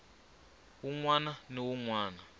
wun wana ni wun wana